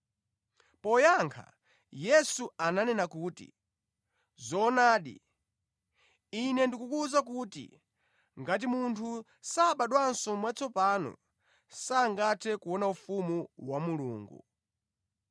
Poyankha Yesu ananena kuti, “Zoonadi, Ine ndikukuwuza kuti, ngati munthu sabadwanso mwatsopano sangathe kuona ufumu wa Mulungu.”